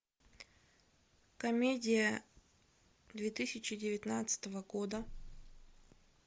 комедия две тысячи девятнадцатого года